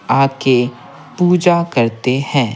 आके पूजा करते हैं।